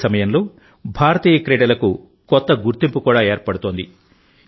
అదే సమయంలో భారతీయ క్రీడలకు కొత్త గుర్తింపు కూడా ఏర్పడుతోంది